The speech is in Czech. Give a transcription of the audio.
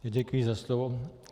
Děkuji za slovo.